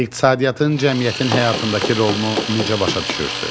İqtisadiyyatın cəmiyyətin həyatındakı rolunu necə başa düşürsünüz?